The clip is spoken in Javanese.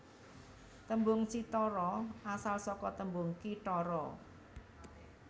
Tembung cithara asal saka tembung kithara